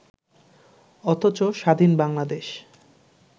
অথচ স্বাধীন বাংলাদেশ